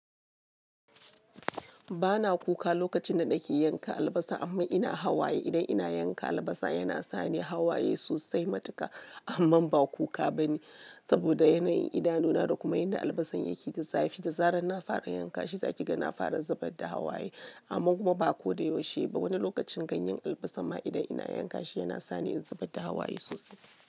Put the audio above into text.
Bana kuka lokacin da nake yanka albasa amma ina hawaye idan ina yanka albasa yana sani hawaye sosai matuka amma ba kuka bane saboda yanayin idanu na da kuma yanda albasan yake da zafi. Da zarar na fara yanka shi za ki ga na fara zubar da hawaye amma kuma ba ko da yaushe ba. Wani lokacin ganyen albasa ma idan ina yanka shi yana sa ni in zubar da hawaye sosai.